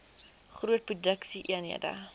groot produksie eenhede